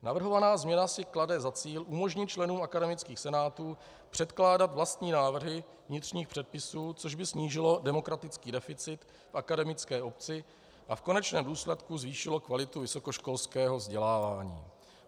Navrhovaná změna si klade za cíl umožnit členům akademických senátů předkládat vlastní návrhy vnitřních předpisů, což by snížilo demokratický deficit v akademické obci a v konečném důsledku zvýšilo kvalitu vysokoškolského vzdělávání.